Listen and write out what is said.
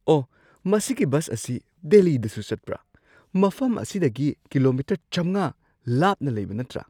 ꯑꯣꯍ! ꯃꯁꯤꯒꯤ ꯕꯁ ꯑꯁꯤ ꯗꯦꯜꯂꯤꯗꯁꯨ ꯆꯠꯄ꯭ꯔꯥ? ꯃꯐꯝ ꯑꯁꯤꯗꯒꯤ ꯀꯤꯂꯣꯃꯤꯇꯔ ꯵꯰꯰ ꯂꯥꯞꯅ ꯂꯩꯕ ꯅꯠꯇ꯭ꯔ?